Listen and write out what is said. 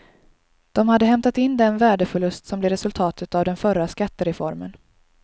De hade hämtat in den värdeförlust som blev resultatet av den förra skattereformen.